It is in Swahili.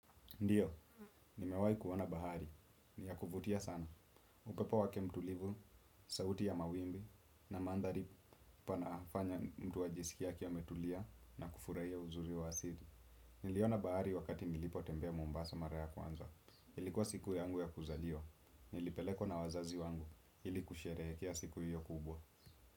Ndio, nimewai kuona bahari. Ni ya kuvutia sana. Upepo wake mtulivu, sauti ya mawimbi na mandhari panafanya mtu ajisikie akiawa ametulia na kufurahia uzuri wa asili. Niliona bahari wakati nilipotembea Mombasa mara ya kwanza. Ilikuwa siku yangu ya kuzaliwa. Nilipelekwa na wazazi wangu. Ili kusherehekea siku hiyo kubwa.